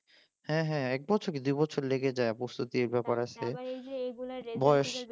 হ্যাঁ হ্যাঁ এক বছর কি দুই বছর লেগে যায় প্রস্তুতির জন্য তারপর বয়স